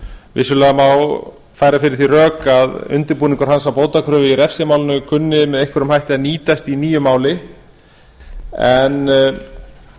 vissulega má færa fyrir því rök að undirbúningur hans að bótakröfu í refsimálinu kunni með einhverjum hætti að nýtast í nýju máli en